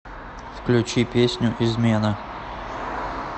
включи песню измена